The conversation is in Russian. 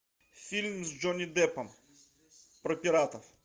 фильм с джонни деппом про пиратов